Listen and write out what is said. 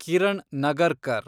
Kiran Nagarkar